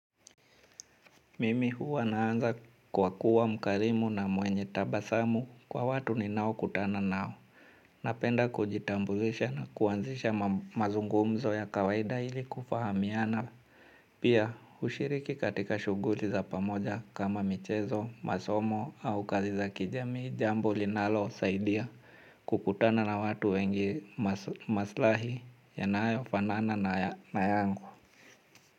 Mimi huwa naanza kwa kuwa mkarimu na mwenye tabasamu kwa watu ninaokutana nao. Napenda kujitambulisha na kuanzisha mazungumzo ya kawaida ili kufahamiana. Pia hushiriki katika shughuli za pamoja kama michezo, masomo au kazi za kijamii jambo linalosaidia kukutana na watu wengi maslahi yanayofanana na yangu.